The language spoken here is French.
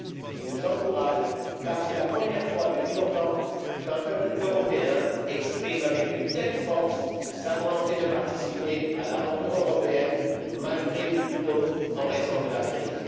Il nous encourage, car c'est la première fois depuis longtemps qu'un peuple européen exprime avec une telle force sa volonté de participer à l'aventure européenne malgré, ou plutôt en raison de la crise.